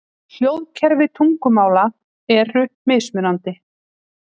Hljóðkerfi tungumála eru mismunandi.